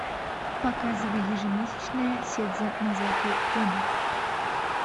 показывай ежемесячное седзе нозаки куна